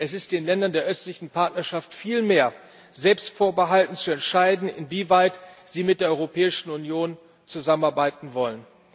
Es ist den Ländern der Östlichen Partnerschaft vielmehr selbst vorbehalten, zu entscheiden, inwieweit sie mit der Europäischen Union zusammenarbeiten wollen.